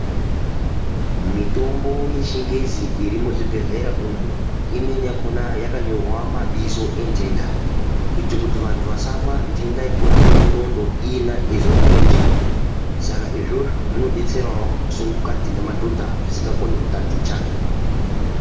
Mitombo yechingezi, iri muzvibhedhlera umu, imweni yakhona yakanyorwa mabizo entenda, kuita kuti vantu vasamwa ntenda yekurape nqxondo iyena eyizwe murenje. Saka izvozvo zvino betserawo masungukati nemadhodha asingakoni kutaticha.